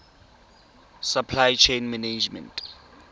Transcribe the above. supply chain management